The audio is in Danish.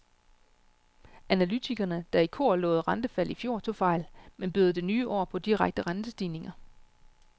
Analytikerne, der i kor lovede rentefald i fjor, tog fejl, men byder det nye år på direkte rentestigninger?